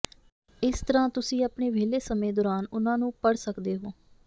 ਇਸ ਤਰ੍ਹਾਂ ਤੁਸੀਂ ਆਪਣੇ ਵਿਹਲੇ ਸਮੇਂ ਦੌਰਾਨ ਉਨ੍ਹਾਂ ਨੂੰ ਪੜ੍ਹ ਸਕਦੇ ਹੋ